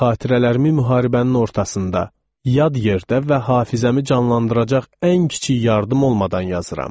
Xatirələrimi müharibənin ortasında, yad yerdə və hafizəmi canlandıracaq ən kiçik yardım olmadan yazıram.